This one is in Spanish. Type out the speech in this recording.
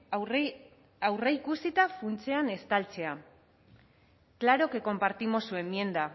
aurreikusita funtsean estaltzea claro que compartimos su enmienda